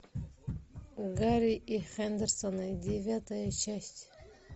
гарри и хендерсоны девятая часть